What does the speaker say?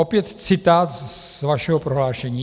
- Opět citát z vašeho prohlášení.